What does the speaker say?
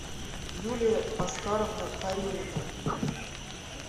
юлия аскарова карелина